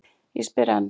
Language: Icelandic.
Ég spyr enn.